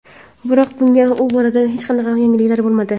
Biroq, bugun bu borada hech qanday yangilik bo‘lmadi.